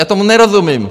Já tomu nerozumím!